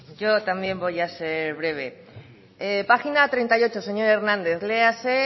yo también voy a ser breve página treinta y ocho señor hernández léase